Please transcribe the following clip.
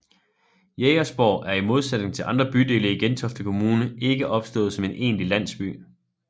Jægersborg er i modsætning til andre bydele i Gentofte Kommune ikke opstået som en egentlig landsby